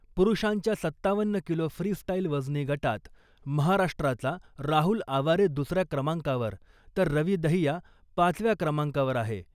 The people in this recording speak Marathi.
पुरुषांच्या सत्तावन्न किलो फ्री स्टाईल वजनी गटात महाराष्ट्राचा राहुल आवारे दुसऱ्या क्रमांकावर , तर रवि दहिया पाचव्या क्रमांकावर आहे .